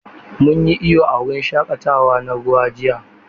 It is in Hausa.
Mun yi iyo a wurin shaƙatawa na ruwa jiya.